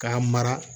K'a mara